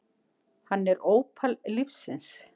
Hann er ópal lífsins.